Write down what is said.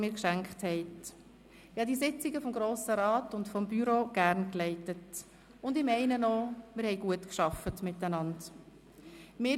Ich habe die Sitzungen des Grossen Rats und des Büros gerne geleitet, und ich meine auch, dass wir gut miteinander gearbeitet haben.